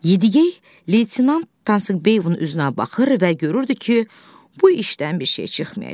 Yedigey, leytenant Tanqibeyevin üzünə baxır və görürdü ki, bu işdən bir şey çıxmayacaq.